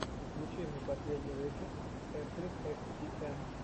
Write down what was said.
включи мне последний выпуск эфлин экс ти эм